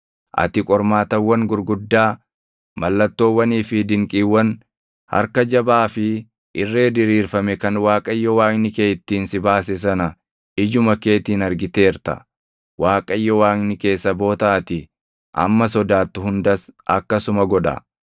Ati qormaatawwan gurguddaa, mallattoowwanii fi dinqiiwwan, harka jabaa fi irree diriirfame kan Waaqayyo Waaqni kee ittiin si baase sana ijuma keetiin argiteerta. Waaqayyo Waaqni kee saboota ati amma sodaattu hundas akkasuma godha.